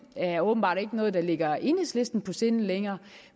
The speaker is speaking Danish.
er åbenbart ikke noget der ligger enhedslisten på sinde længere